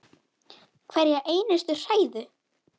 Hverja einustu hræðu!